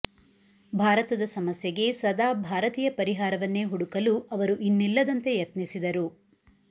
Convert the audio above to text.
ಭಾರತದ ಸಮಸ್ಯೆಗೆ ಸದಾ ಭಾರತೀಯ ಪರಿಹಾರವನ್ನೇ ಹುಡುಕಲು ಅವರು ಇನ್ನಿಲ್ಲದಂತೆ ಯತ್ನಿಸಿದರು